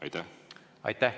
Aitäh!